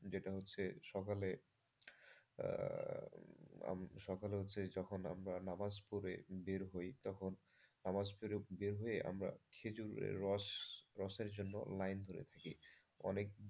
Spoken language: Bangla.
যেটা হচ্ছে সকালে হচ্ছে সকালে হচ্ছে যখন আমরা যখন নামাজ পড়ে বের হই তখন নামাজ পড়ে বের হয়ে আমরা খেজুরের রস রসের জন্য line করে থাকি।